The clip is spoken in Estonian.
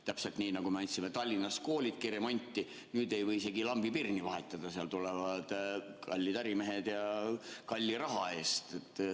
Täpselt nii, nagu me andsime Tallinnas koolidki remonti, nüüd ei või isegi lambipirni seal vahetada, tulevad hoopis kallid ärimehed ja kalli raha eest.